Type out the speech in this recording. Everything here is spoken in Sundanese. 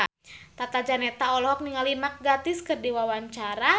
Tata Janeta olohok ningali Mark Gatiss keur diwawancara